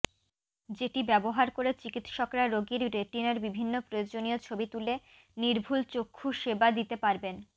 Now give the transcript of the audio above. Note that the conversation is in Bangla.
যেটি ব্যবহার করে চিকিৎসকরা রোগীর রেটিনার বিভিন্ন প্রয়োজনীয় ছবি তুলে নির্ভুল চক্ষু সেবা দিতে পারবেন